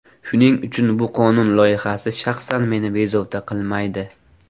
Shuning uchun bu qonun loyihasi shaxsan meni bezovta qilmaydi.